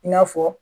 I n'a fɔ